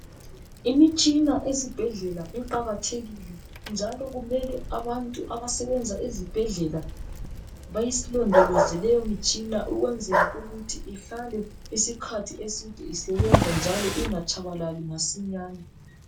Imitshina ezibhendlela iqakathekile njalo kumele abantu abasebenza ezibhendlela bayilondoloze lemitshina ukwenzela ukuthi ihlale isikhathi eside isebenza njalo ingatshabalali masinyane